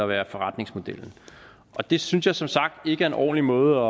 der er forretningsmodellen og det synes jeg som sagt ikke er en ordentlig måde